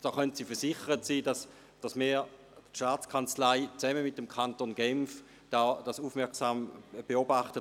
Sie können versichert sein, dass die STA zusammen mit dem Kanton Genf das Ganze aufmerksam beobachtet.